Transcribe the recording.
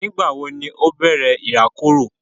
Nígbà wo ni ó bẹ̀rẹ̀ ìrákòrò?